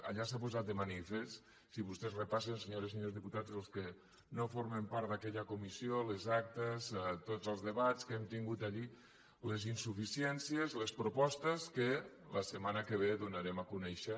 allà s’ha posat de manifest si vostès repassen senyores i senyors diputats els que no formen part d’aquella comissió les actes tots els debats que hem tingut allà les insuficiències les propostes que la setmana que ve donarem a conèixer